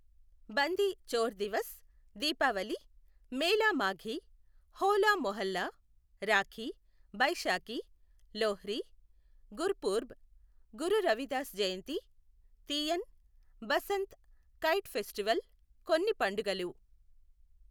బంది Chhor Divas, Deepavali, Mela Maghi, Hola Mohalla, Rakhi, Baisakhi, Lohri, Gurpurab, Guru Ravidas Jayanti, Teeyan, Basant kite festival కొన్ని పండుగలు.